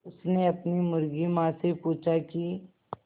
उसने अपनी मुर्गी माँ से पूछा की